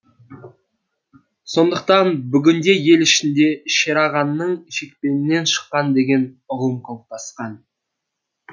сондықтан бүгінде ел ішінде шерағаңның шекпенінен шыққан деген ұғым қалыптасқан